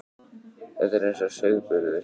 Þetta er eins og sauðburður.